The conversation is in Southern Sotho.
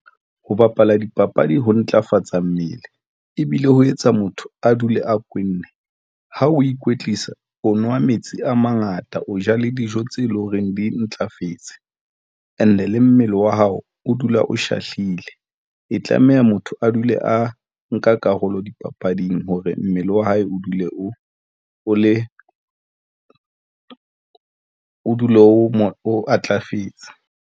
Ho bapala dipapadi ho ntlafatsa mmele ebile ho etsa motho a dule a kwenne. Ha o ikwetlisa, o nwa metsi a mangata, o ja le dijo tse leng horeng di ntlafetse and-e le mmele wa hao, o dula o shahlile, e tlameha motho a dule a nka karolo dipapading hore mmele wa hae o dule, o le o dule o matlafetse.